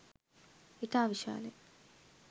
ඉතා විශාලය.